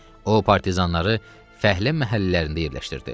O partizanları fəhlə məhəllələrində yerləşdirdi.